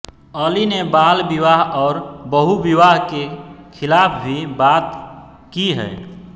अली ने बाल विवाह और बहुविवाह के खिलाफ भी बात की है